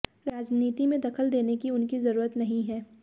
राजनीति में दखल देने की उनकी जरुरत नहीं है